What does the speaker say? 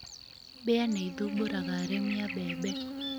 Mbĩa ni ithumbũraga arĩmi a mbembe.